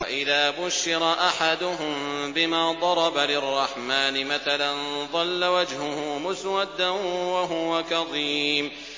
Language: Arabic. وَإِذَا بُشِّرَ أَحَدُهُم بِمَا ضَرَبَ لِلرَّحْمَٰنِ مَثَلًا ظَلَّ وَجْهُهُ مُسْوَدًّا وَهُوَ كَظِيمٌ